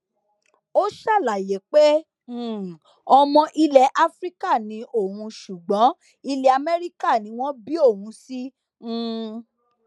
ó ṣàlàyé pé um ọmọ ilẹ afrika ni òun ṣùgbọn ilẹ amẹríkà ni wọn bí òun sí um